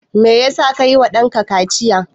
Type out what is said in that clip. Me ya sa ka yi wa ɗanka kaciya?